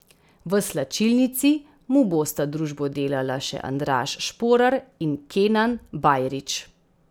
V slačilnici mu bosta družbo delala še Andraž Šporar in Kenan Bajrić.